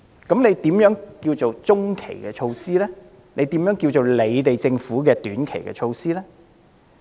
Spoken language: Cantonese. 那麼，何謂中期措施，何謂政府的短期措施呢？